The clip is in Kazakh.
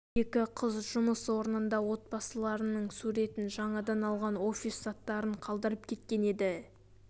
екі қыз жұмыс орнында отбасыларының суретін жаңадан алған офис заттарын қалдырып кеткен еді